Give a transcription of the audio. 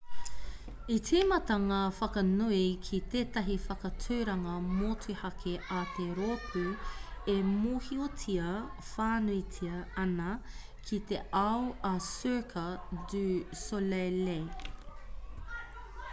i tīmata ngā whakanui ki tētahi whakaaturanga motuhake a te rōpū e mōhiotia whānuitia ana ki te ao a cirque du soleil